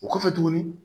O kɔfɛ tuguni